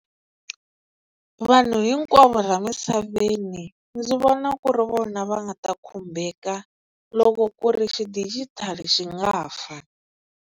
Vanhu hinkwavo laha misaveni ndzi vona ku ri vona va nga ta khumbeka loko ku ri xidigitali xi nga fa.